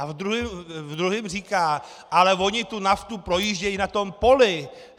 A v druhém říká: "Ale oni tu naftu projíždějí na tom poli.